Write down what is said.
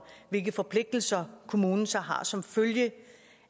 hvilke forpligtelser kommunen så har som følge